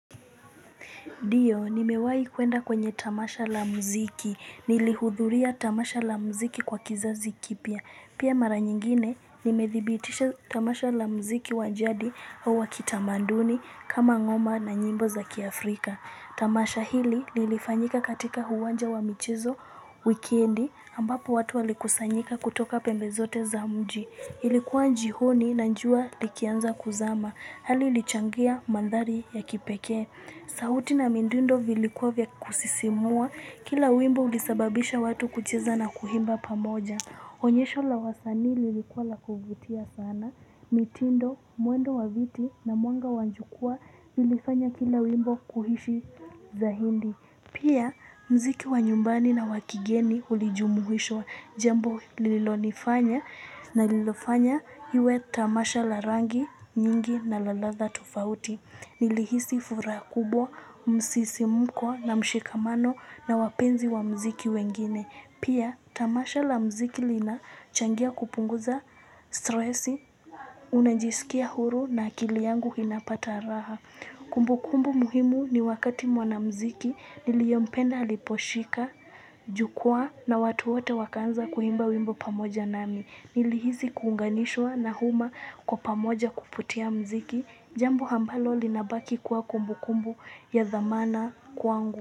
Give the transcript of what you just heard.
Ndio, nimewai kuenda kwenye tamasha la mziki. Nilihudhuria tamasha la mziki kwa kisasi kipya. Pia mara nyingine, nimethibitisha tamasha la mziki wajadi au wakitamanduni kama ngoma na nyimbo za kiafrika. Tamasha hili nilifanyika katika uwanja wa michizo wikiendi ambapo watu walikusanyika kutoka pembe zote za mji. Ilikuwa jioni na jua likianza kuzama. Hali ilichangia mandhari ya kipekee. Sauti na mindundo vilikuwa vya kusisimua, kila wimbo ulisababisha watu kucheza na kuimba pamoja. Onyesho la wasani lilikuwa la kuvutia sana, mitindo, mwendo wa viti na mwanga jukwaa lilifanya kila wimbo kuhishi saidi. Pia mziki wa nyumbani na wakigeni ulijumuhishwa jambo lililonifanya na lilofanya iwe tamasha la rangi, nyingi na laladha tofauti. Nilihisi furaha kubwa, msisimuko na mshikamano na wapenzi wa mziki wengine. Pia tamasha la mziki linachangia kupunguza stresi, unajisikia uhuru na akili yangu inapata raha. Kumbu kumbu muhimu ni wakati mwana mziki niliyempenda aliposhika, jukwaa na watu wote wakaanza kuimba wimbo pamoja nami. Niliisi kuunganishwa na huma kwa pamoja kuputia mziki. Jambo ambalo linabaki kuwa kumbu kumbu ya dhamana kwangu.